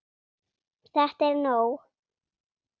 ÞETTA ER NÓG!